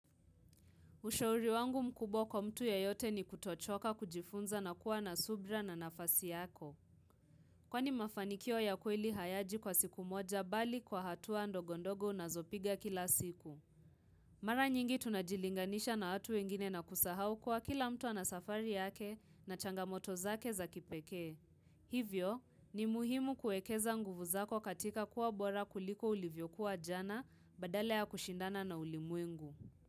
Ushauri wangu mkubwa kwa mtu yeyote ni kutochoka kujifunza na kuwa na subra na nafasi yako. Kwani mafanikio ya kweli hayaji kwa siku moja bali kwa hatua ndogondogo unazopiga kila siku. Mara nyingi tunajilinganisha na watu wengine na kusahau kwa kila mtu anasafari yake na changamoto zake za kipeke. Hivyo, ni muhimu kuekeza nguvu zako katika kuwa bora kuliko ulivyokuwa jana badala ya kushindana na ulimwengu.